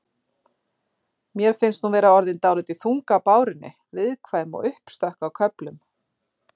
Mér finnst hún vera orðin dálítið þung á bárunni. viðkvæm og uppstökk á köflum.